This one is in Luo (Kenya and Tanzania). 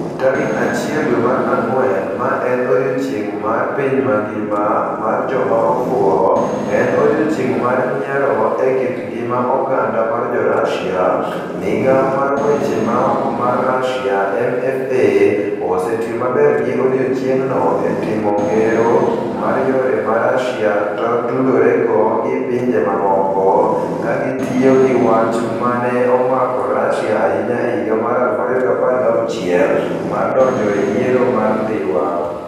Tarik 1 dwe mara ngwen, ma en odiechieng' mar piny mangima mar joma ofuwo - en "odiechieng' mar nyiero" e kit ngima oganda mar Jo-Russia - Migawo mar Weche Maoko mar Russia (MFA) osetiyo maber gi odiechieng'no e timo ngero mar yore ma Russia tudorego gi pinje mamoko, ka gitiyo gi wach ma ne omako Russia ahinya e higa mar 2016 mar donjo e yiero mar Dhiwa.